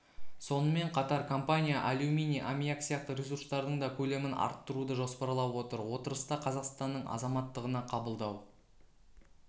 сонымен қатар компания алюминий амиак сияқты ресурстардың да көлемін арттыруды жоспарлап отыр отырыста қазақстанның азаматтығына қабылдау